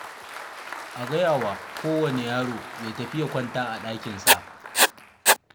A gaya wa kowane yaro ya tafi ya kwanta a ɗakinsa.